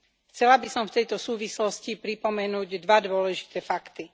Chcela by som v tejto súvislosti pripomenúť dva dôležité fakty.